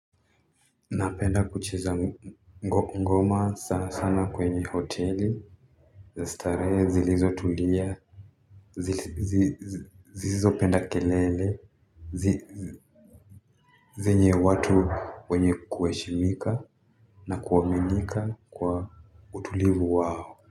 Napenda kucheza ngoma sana sana kwenye hoteli za starehe zilizotulia zisizopenda kelele. Zenye watu wenye kuheshimika na kuaminika kwa utulivu wao.